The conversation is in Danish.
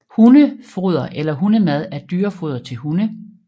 Hundefoder eller hundemad er dyrefoder til hunde